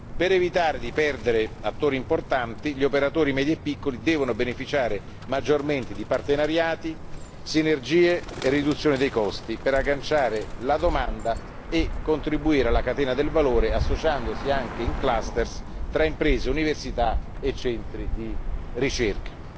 Per evitare di perdere attori importanti, gli operatori medi e piccoli devono beneficiare maggiormente di partenariati, sinergie e riduzione dei costi per agganciare la domanda e contribuire alla catena del valore, associandosi anche in cluster tra imprese, università e centri di ricerca.